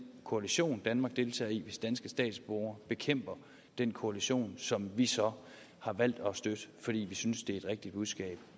koalition danmark deltager i hvis danske statsborgere bekæmper den koalition som vi så har valgt at støtte fordi vi synes at det er et rigtigt budskab